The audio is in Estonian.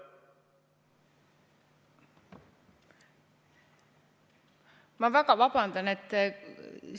Ma väga vabandan!